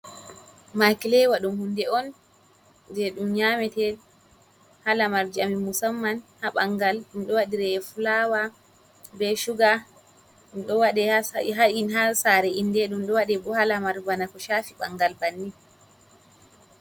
Makhileywa ɗum hunde on je ɗum nyamete ha lamarji amin musamman ha ɓangal, ɗum ɗo wadire be fulawa, be shuga, ɗum ɗo waɗe ha sa ha in sare ’inde ɗum ɗo waɗe bo ha lamar bana ko chafi bangal bannin.